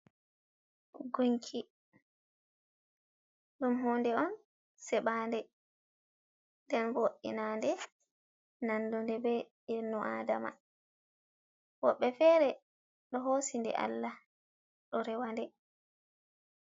Gunki ɗum hunde on seɓaade, nden vo'inaade, nanɗube, be inno adama woɓɓe feere ɗo hoosi nde. Allah ɗo rewaɗe.